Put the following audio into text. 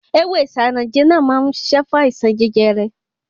Ewé Isanaje náà má ń ṣiṣẹ́ fún àìsàn jẹjẹrẹ.